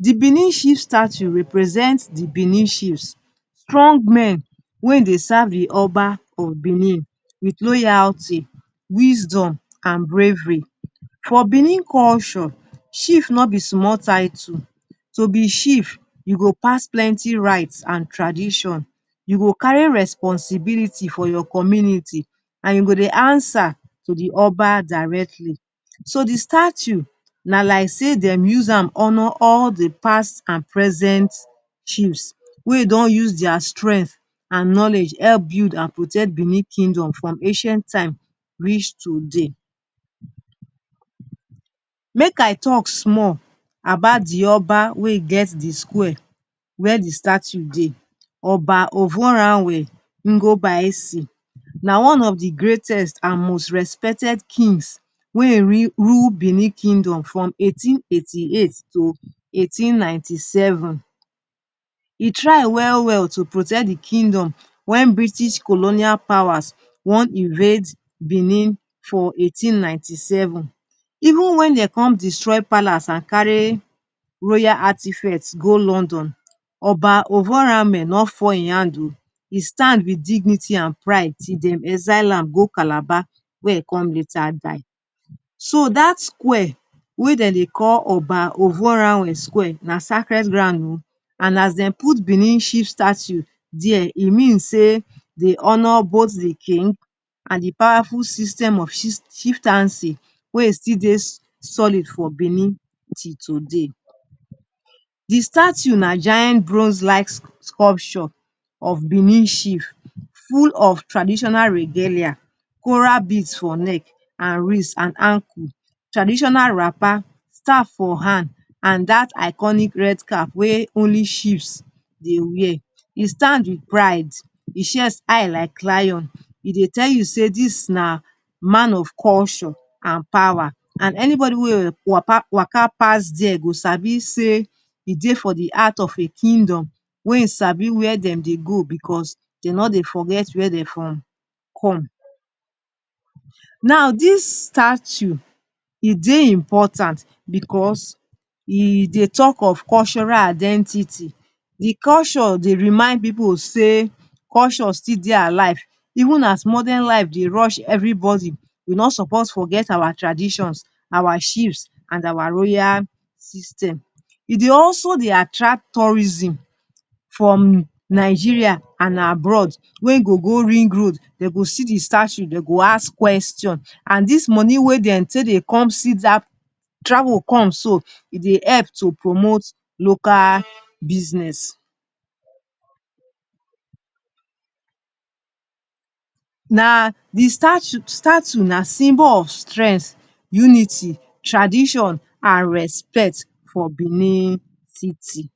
The Benin Chief Statue represent the Benin chiefs, strong men wey dey serve the Oba of Benin with loyalty, wisdom, an bravery. For Benin culture, Chief no be small title. To be Chief, you go pass plenty rites an tradition, you go carry responsibility for your community, an you go dey answer to the Oba directly. So, the statue na like sey dem use am honour all the past an present chiefs wey don use dia strength an knowledge help build an protect Benin Kingdom from ancient time reach today. Make I talk small about the Oba wey get the square where the statue dey, Oba. Na one of the greatest an most respected kings wey ein rule Benin Kingdom from eighteen eighty-eight to eighteen ninety-seven. E try well-well to protect the Kingdom wen Bristish colonial powers wan invade Benin for eighteen ninety-seven. Even wen de come destroy Palace an carry royal artifacts go London, Oba no fall ein hand oh. E stand with dignity an pride till dem exile am go Calabar where he come later die. So, dat square wey de dey call Oba na sacred ground oh, an as dem put Benin Chief Statue there, e mean sey de honour both the king an the powerful system of chieftaincy wey e still dey solid for Benin till today. The statue na giant bronze-like sculpture of Benin Chief, full of traditional regalia, coral beads for neck, an wrist, an ankle, traditional wrapper, staff for hand, an dat iconic red cap wey only chiefs dey wear. E stand with pride, e chest high like lion, e dey tell you sey dis na man of culture an power, an anybody wey waka waka pass there go sabi sey e dey for the heart of a Kingdom wey sabi where dem dey go becos de no dey forget where de from come. Now, dis statue, e dey important becos e dey talk of cultural identity. The culture dey remind pipu sey culture still dey alive. Even as modern life dey rush everybody, we no suppose forget our traditions, our chiefs, an our royal system. E dey also dey attract tourism from Nigeria an abroad wey go go Ringroad. De go see the statue, de go ask question an dis money wey de take dey come see dat travel come so, e dey help to promote local business. Na the statue, Statue na symbol of strength, unity, tradition, an respect for Benin City.